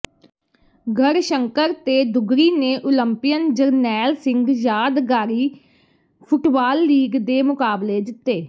ਗੜ੍ਹਸ਼ੰਕਰ ਤੇ ਦੁੱਗਰੀ ਨੇ ਉਲੰਪੀਅਨ ਜਰਨੈਲ ਸਿੰਘ ਯਾਦਗਾਰੀ ਫੁੱਟਬਾਲ ਲੀਗ ਦੇ ਮੁਕਾਬਲੇ ਜਿੱਤੇ